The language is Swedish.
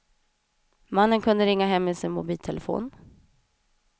Mannen kunde ringa hem med sin mobiltelefon.